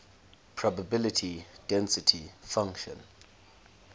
probability density function